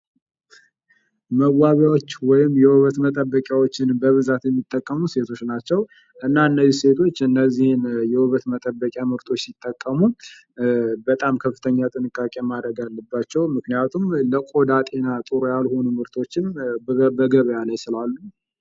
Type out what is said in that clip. መዋቢያዎች ወይም መጠበቂዎች በብዛት የሚጠቀሙ ሴቶች ናቸው እና እነዚህ ሴቶች እነዚህን የውበት መጠበቂያዎች ሲጠቀሙ በጣም ከፍተኛ ጥንቃቄ ማድረግ አለባቸው ምክንያቱም ለቆዳ ጤና ጥሩ ያልሆኑ ምርቶች በገበያ ላይ ስላሉ።